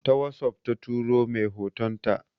Ta wossof ta tura mai hotonta.